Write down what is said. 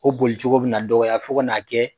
O bolicogo bɛ na dɔgɔya fo kan'a kɛ